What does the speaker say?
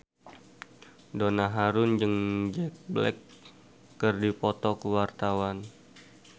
Donna Harun jeung Jack Black keur dipoto ku wartawan